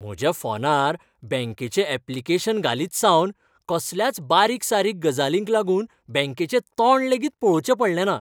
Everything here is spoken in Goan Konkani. म्हज्या फोनार बँकेचे ऍप्लिकेशन घालीतसावन, कसल्याच बारीक सारीक गजालींक लागून बँकेचे तोंड लेगीत पळोवचें पडलें ना.